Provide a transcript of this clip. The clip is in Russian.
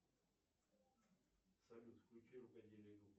салют включи рукоделие